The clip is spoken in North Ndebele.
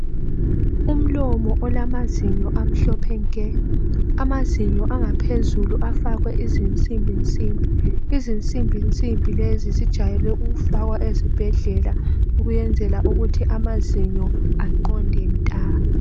Umlomo olamazinyo amhlophe nke. Amazinyo angaphezulu afakwe izinsimbi nsimbi. Izinsimbi nsimbi lezi zijayele ukufakwa ezibhedlela ukuyenzela ukuthi amazinyo aqonde nta.